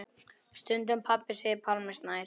Stundum pabbi segir Pálmi Snær.